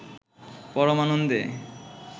পরম আনন্দে